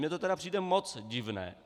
Mně to tedy přijde moc divné.